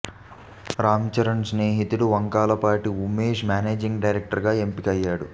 రామ్ చరణ్ స్నేహితుడు Vankayalapati Umesh managing director గా ఎంపిక అయ్యాడు